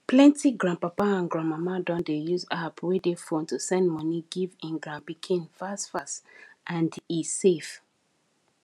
plenty grandpapa and grandmama don dey use app wey dey phone to send money give him grand pikin fast fast and he safe